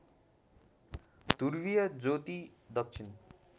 ध्रुवीय ज्योति दक्षिण